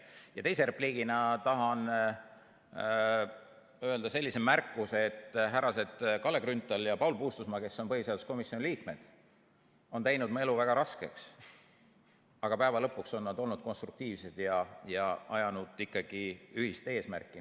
Ja teise repliigina tahan öelda sellise märkuse, et härrased Kalle Grünthal ja Paul Puustusmaa, kes on põhiseaduskomisjoni liikmed, on teinud mu elu väga raskeks, aga lõpuks on nad olnud konstruktiivsed ja ajanud ikkagi ühist eesmärki.